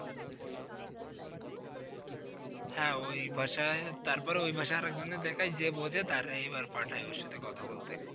হ্যাঁ! ওই ভাষায়, তারপরে ওই ভাষায় আর এক জনের দেখায় যে বোঝে তারে এই বার পাঠায় ওর সাথে কথা বলতে।